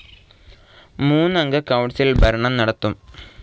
മൂന്നംഗ കൌൺസിൽ ഭരണം നടത്തും.